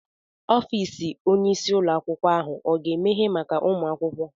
Ọfịs Onye isi ụlọ akwụkwọ ahụ oga emehe maka ụmụ akwụkwọ?